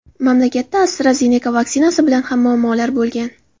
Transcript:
Mamlakatda AstraZeneca vaksinasi bilan ham muammolar bo‘lgan.